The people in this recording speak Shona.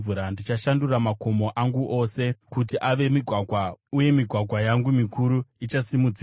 Ndichashandura makomo angu ose kuti ave migwagwa, uye migwagwa yangu mikuru ichasimudzirwa.